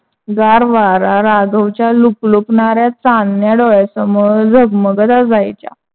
गार वारा राघव च्या लुकलुकणाऱ्या चांदण्या डोळ्यासमोर झगमगत असायच्या.